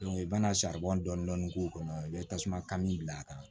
i bɛna saribɔn dɔɔni k'o kɔnɔ i bɛ tasuma kami bila a kan